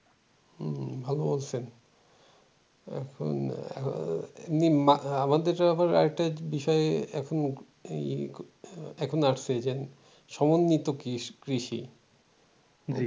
এখন এখন আমাদের আবার আরেকটা বিষয় এখন এখন আসছে যে সমন্বিত কৃষি